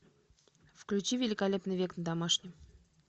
включи великолепный век на домашнем